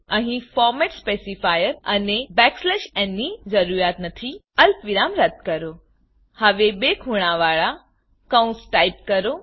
અહી format specifier અને n ની જરૂરિયાત નથી અલ્પ વિરામ રદ્દ કરો હવે બે ખૂણાવાળા કૌંસ ટાઈપ કરો